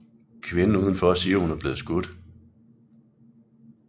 Kvinden udenfor siger hun er blevet skudt